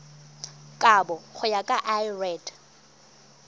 kabo go ya ka lrad